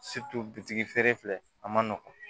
bitigi feere filɛ a ma nɔgɔn